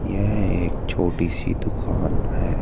यह एक छोटी सी दुकान है।